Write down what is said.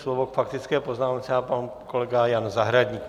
Slovo k faktické poznámce má pan kolega Jan Zahradník.